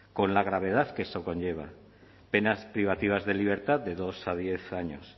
con la gravedad que esto conlleva penas privativas de libertad de dos a diez años